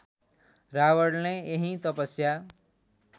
रावणले यही तपस्या